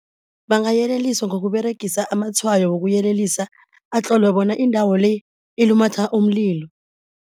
Bangayeleliswa ngokUberegisa amatshwayo wokuyelelisa atlolwe bona indawo le ilumatha umlilo.